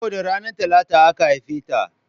Saboda ranar Talata aka haife ta